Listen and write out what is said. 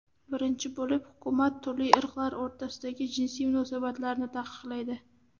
Birinchi bo‘lib, hukumat turli irqlar o‘rtasidagi jinsiy munosabatlarni taqiqlaydi.